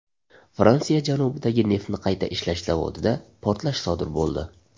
Fransiya janubidagi neftni qayta ishlash zavodida portlash sodir bo‘ldi.